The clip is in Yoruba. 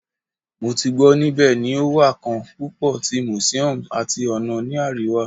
Mo ti gbọ nibẹ ni o wa kan pupo ti museums ati ona ni ariwa